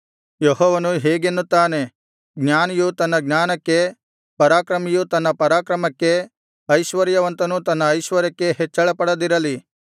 ಯೆಹೋವನು ಹೀಗೆನ್ನುತ್ತಾನೆ ಜ್ಞಾನಿಯು ತನ್ನ ಜ್ಞಾನಕ್ಕೆ ಪರಾಕ್ರಮಿಯು ತನ್ನ ಪರಾಕ್ರಮಕ್ಕೆ ಐಶ್ವರ್ಯವಂತನು ತನ್ನ ಐಶ್ವರ್ಯಕ್ಕೆ ಹೆಚ್ಚಳಪಡದಿರಲಿ